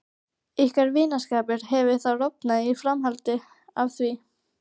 Ykkar vinskapur hefur þá rofnað í framhaldi af því?